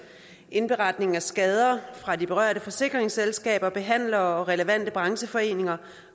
indberetning af skader fra de berørte forsikringsselskaber behandlere og relevante brancheforeninger